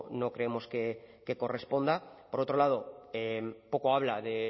no creemos que correspondan por otro lado poco habla de